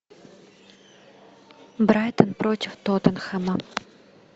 брайтон против тоттенхэма